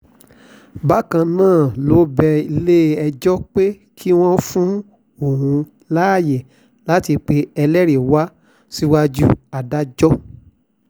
bákan náà ló bẹ ilé-ẹjọ́ pé kí wọ́n fún òun láàyè láti pe ẹlẹ́rìí wá síwájú adájọ́